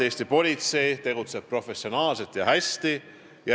Eesti politsei tegutseb professionaalselt ja hästi.